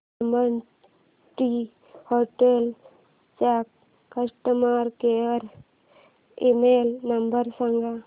lemon Tree hotels चा customer care email number सांगा